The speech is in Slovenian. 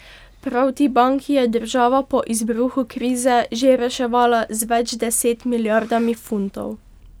Prav ti banki je država po izbruhu krize že reševala z več deset milijardami funtov.